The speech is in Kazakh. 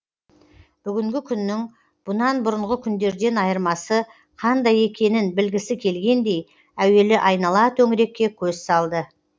бүгінгі күннің бұнан бұрынғы күндерден айырмасы қандай екенін білгісі келгендей әуелі айнала төңірекке көз салды